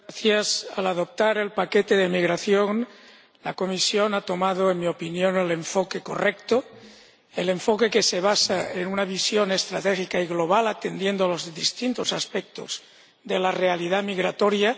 Señora Presidenta, al adoptar el paquete sobre migración, la Comisión ha tomado, en mi opinión, el enfoque correcto, el enfoque que se basa en una visión estratégica y global, atendiendo a los distintos aspectos de la realidad migratoria